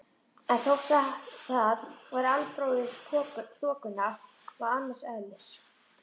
En þótt það væri albróðir þokunnar var það annars eðlis.